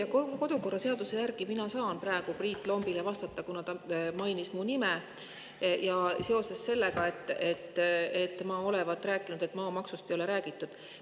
Kas töö‑ ja kodukorra seaduse järgi ma saan praegu Priit Lombile vastata, kuna ta mainis minu nime seoses sellega, et ma olevat rääkinud, et maamaksust ei ole räägitud?